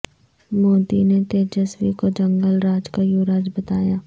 مودی نے تیجسوی کو جنگل راج کا یوراج بتایا